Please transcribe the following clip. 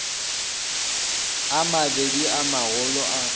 a mabedi a magolo a